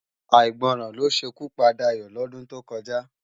Áigbòrán ló sé ikú pá Dayo lòdún tókòjá